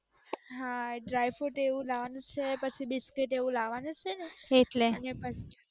હા ડ્રાયફ્રુટ એવુ લાવવાનુ છે પછી બીસ્કીટ એવુ લાવવાનુ છે ને એટલે એટલે પછી